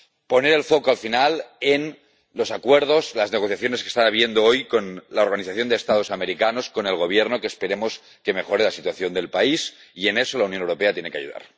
Poner el foco al final en los acuerdos, las negociaciones que están produciéndose hoy con la Organización de Estados Americanos, con el Gobierno, que esperemos que mejoren la situación del país, y en eso la Unión Europea tiene que ayudar.